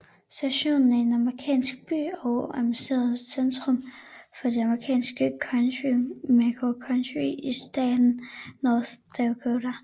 Stanton er en amerikansk by og administrativt centrum for det amerikanske county Mercer County i staten North Dakota